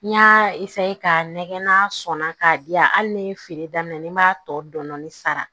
N y'a ka nɛgɛ n'a sɔnna k'a di yan hali ni feere daminɛ na ni n b'a tɔ dɔni sara